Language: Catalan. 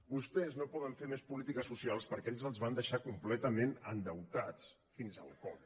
vostès no poden fer més polítiques socials perquè ells els van deixar completa·ment endeutats fins al coll